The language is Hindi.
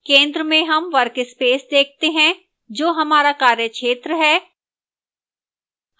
centre में हम workspace देखते हैं जो हमारा कार्य क्षेत्र है